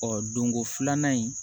Ɔ donko filanan in